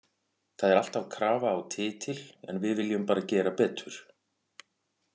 Það er alltaf krafa á titil en við viljum bara gera betur.